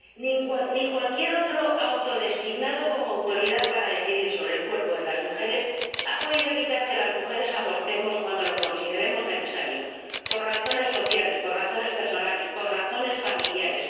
ni ninguna otra persona autodesignada como autoridad para decidir sobre el cuerpo de las mujeres ha podido evitar que las mujeres abortemos cuando lo consideremos necesario ―por razones sociales, por razones personales, por razones familiares―.